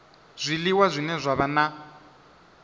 zwiliwa zwine zwa vha na